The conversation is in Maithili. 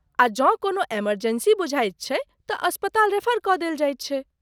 आ जँ कोनो इमर्जेंसी बुझाइत छैक तँ अस्पताल रेफर कऽ देल जाइत छै।